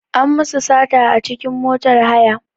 An musu sata a cikin motar haya.